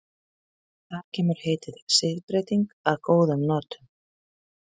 Þar kemur heitið siðbreyting að góðum notum.